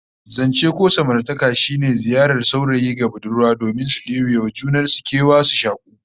Zance ko samartaka shine ziyarar saurayi ga budurwa domin su debe wa juna kewa, su shaku